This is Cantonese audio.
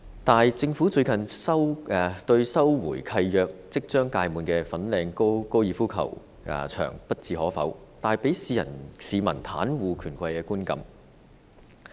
但是，政府最近對收回契約即將屆滿的粉嶺高爾夫球場不置可否，帶給市民袒護權貴的觀感。